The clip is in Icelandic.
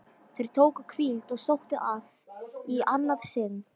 Þeir tóku hvíld og sóttu að í annað sinn.